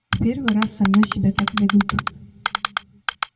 в первый раз со мной себя так ведут